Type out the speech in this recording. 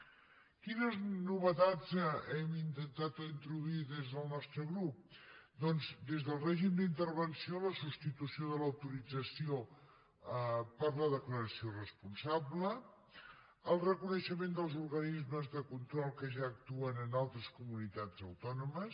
quines novetats hem intentat introduir hi des del nostre grup doncs des del règim d’intervenció a la substitució de l’autorització per la declaració responsable el reconeixement dels organismes de control que ja actuen en altres comunitats autònomes